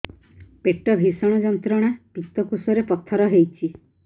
ପେଟ ଭୀଷଣ ଯନ୍ତ୍ରଣା ପିତକୋଷ ରେ ପଥର ହେଇଚି